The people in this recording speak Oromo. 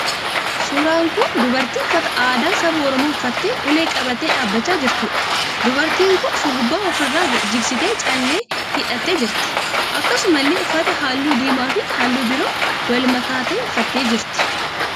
Suuraan kun dubartii uffata aadaa saba Oromoo uffattee ulee qabattee dhaabbachaa jirtuudha. Dubartiin kun shurrubbaa ofi irra jigsitee callee itti hidhattee jirti. Akkasumallee uffata halluu diimaa fi halluu biroo wal makaa ta'e uffattee jirti.